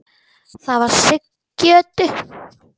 Það var Siggi Öddu.